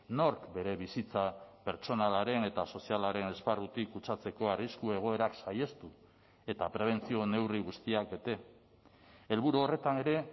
nork bere bizitza pertsonalaren eta sozialaren esparrutik kutsatzeko arrisku egoerak saihestu eta prebentzio neurri guztiak ete helburu horretan ere